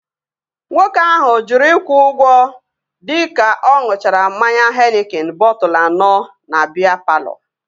Nwoke ahụ jụrụ ịkwụ ụgwọ dịka ọ ṅuchara mmanya henikin bọtụlu anọ na biya palọ